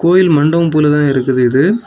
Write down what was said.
கோயில் மண்டபம் போலதா இருக்குது இது.